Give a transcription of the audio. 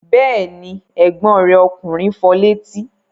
Bẹ́ẹ̀ ni, ẹ̀gbọ́n rẹ̀ ọkùnrin fọ létí.